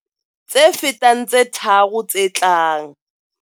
Tse fetang tse tharo tse tlang.